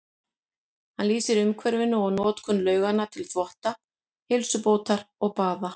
Hann lýsir umhverfinu og notkun lauganna til þvotta, heilsubótar og baða.